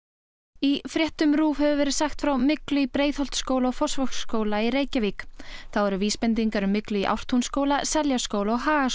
í fréttum RÚV hefur verið sagt frá myglu í Breiðholtsskóla og Fossvogsskóla í Reykjavík þá eru vísbendingar um myglu í Ártúnsskóla Seljaskóla og Hagaskóla